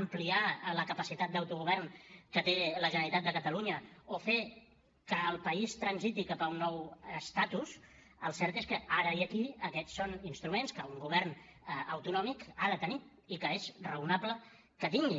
ampliar la capacitat d’autogovern que té la generalitat de catalunya o fer que el país transiti cap a un nou estatus el cert és que ara i aquí aquests són instruments que un govern autonòmic ha de tenir i que és raonable que tingui